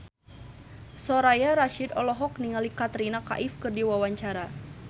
Soraya Rasyid olohok ningali Katrina Kaif keur diwawancara